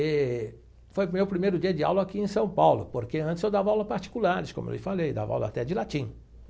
E foi o meu primeiro dia de aula aqui em São Paulo, porque antes eu dava aula particulares, como eu lhe falei, dava aula até de latim.